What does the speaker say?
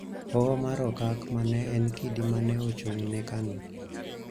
Hoho mar Okak �ma ne en kidi ma ne ochung�ne Kanu�